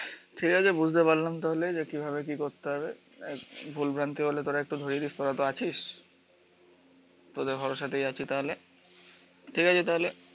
ঠিক আছে বুঝতে পারলাম তাহলে কিভাবে কি করতে হবে, ভুলভ্রান্তি হলে তোরা একটু ধরিয়া দিস তোরাতো আছিস। তোদের ভরসাতেই আছি তাহলে, ঠিক আছে তাহলে